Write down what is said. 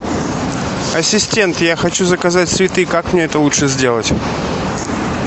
ассистент я хочу заказать цветы как мне это лучше сделать